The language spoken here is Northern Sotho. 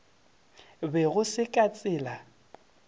be go se ka tsela